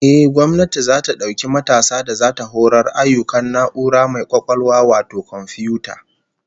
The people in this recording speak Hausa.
Ehh, gwamnati zata dauki matasa da zata horar ayyukan na'ura mai kwakwalwa wato komfiyuta